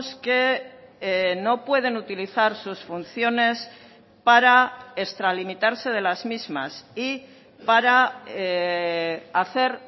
que no pueden utilizar sus funciones para extralimitarse de las mismas y para hacer